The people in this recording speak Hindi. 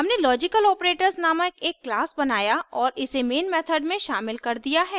हमने logicaloperators नामक एक class बनाया और इसे main method में शामिल कर दिया है